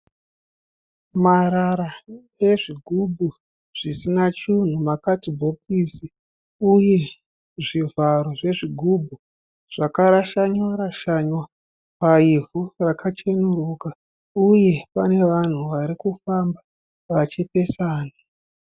Marara ezvigubhu zvisina chinhu. Makadhibhokisi uye zvivharo zvezvigubhu zvakarashana rashana paivhu rakachenuruka uye pane vanhu varikufamba vachipesana.